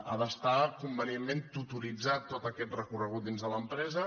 ha d’estar convenientment tutoritzat tot aquest recorregut dins de l’empresa